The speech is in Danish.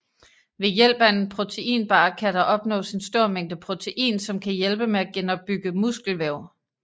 Ved hjælp af en proteinbar kan der opnås en stor mængde protein som kan hjælpe med at genopbygge muskelvæv